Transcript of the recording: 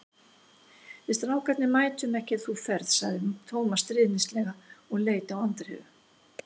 Við strákarnir mætum ekki ef þú ferð sagði Tómas stríðnislega og leit á Andreu.